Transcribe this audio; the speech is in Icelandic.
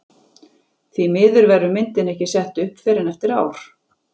Því miður verður myndin ekki sett upp fyrr en eftir ár.